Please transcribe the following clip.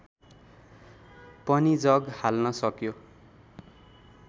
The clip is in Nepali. पनि जग हाल्न सक्यो